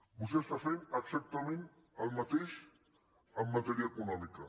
vostè està fent exactament el mateix en matèria econòmica